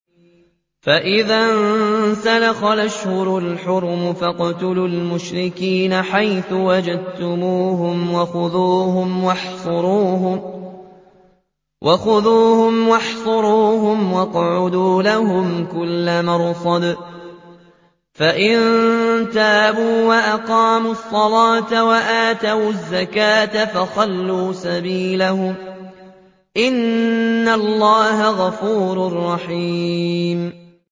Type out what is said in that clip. فَإِذَا انسَلَخَ الْأَشْهُرُ الْحُرُمُ فَاقْتُلُوا الْمُشْرِكِينَ حَيْثُ وَجَدتُّمُوهُمْ وَخُذُوهُمْ وَاحْصُرُوهُمْ وَاقْعُدُوا لَهُمْ كُلَّ مَرْصَدٍ ۚ فَإِن تَابُوا وَأَقَامُوا الصَّلَاةَ وَآتَوُا الزَّكَاةَ فَخَلُّوا سَبِيلَهُمْ ۚ إِنَّ اللَّهَ غَفُورٌ رَّحِيمٌ